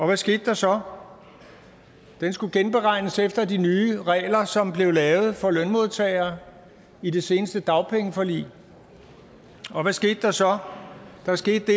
hvad skete der så den skulle genberegnes efter de nye regler som blev lavet for lønmodtagere i det seneste dagpengeforlig og hvad skete der så der skete det